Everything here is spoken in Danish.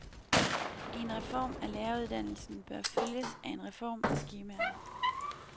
En reform af læreruddannelsen bør følges af en reform af skemaerne.